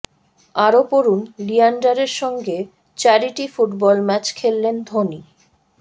আরও পড়ুন লিয়েন্ডারের সঙ্গে চ্যারিটি ফুটবল ম্যাচ খেললেন ধোনি